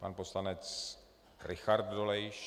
Pan poslanec Richard Dolejš.